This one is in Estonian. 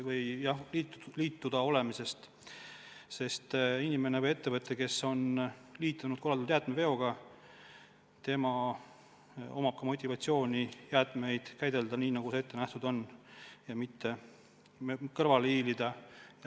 Kui inimene või ettevõte on liitunud korraldatud jäätmeveoga, on tal motivatsioon jäätmeid käidelda nii, nagu ette nähtud on, ja mitte kõrvale hiilida.